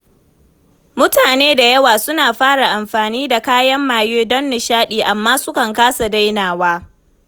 Mutane da yawa suna fara amfani da kayan maye don nishaɗi, amma sukan kasa dainawa.